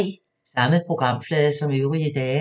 Samme programflade som øvrige dage